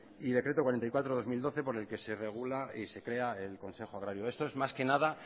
y decreto cuarenta y cuatro barra dos mil doce por el que se regula y se crea el consejo agrario esto es más que nada